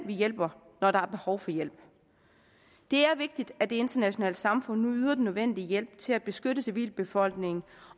vi hjælper når der er behov for hjælp det er vigtigt at det internationale samfund nu yder den nødvendige hjælp til at beskytte civilbefolkningen